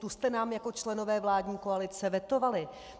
Tu jste nám jako členové vládní koalice vetovali.